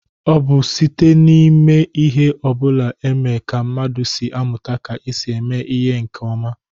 O bu site n'ime ihe obula eme ka mmadu si amuta ka e si eme ya nke oma.